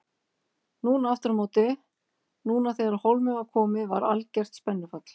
Núna aftur á móti, núna þegar á hólminn var komið var algert spennufall.